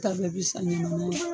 Ta bɛɛ bɛ san